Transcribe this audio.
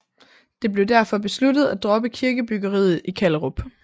Det blev derfor besluttet at droppe kirkebyggeriet i Kallerup